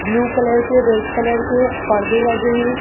Blue colour के red colour के पर्दे लगे हैं।